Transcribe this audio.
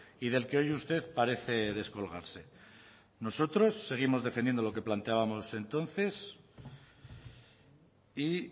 y del que hoy usted parece descolgarse nosotros seguimos defendiendo lo que planteábamos entonces y